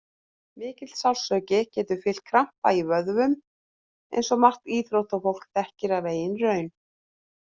Mikill sársauki getur fylgt krampa í vöðvum eins og margt íþróttafólk þekkir af eigin raun.